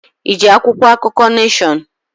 Iji akwụkwọ akụkọ Neshọn?